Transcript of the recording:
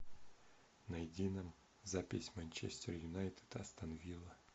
найди нам запись манчестер юнайтед и астон вилла